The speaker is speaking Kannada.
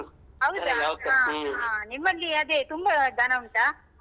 ಹೌದಾ ಹ ಹ ನಿಮ್ಮಲ್ಲಿ ಅದೇ ತುಂಬಾ ದನ ಉಂಟಾ?